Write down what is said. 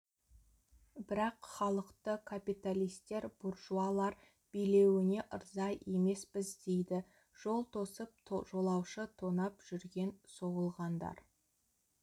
бірақ халықты капиталистер буржуалар билеуіне ырза емеспіз дейді жол тосып жолаушы тонап жүрген соғылғандар